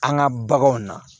An ka baganw na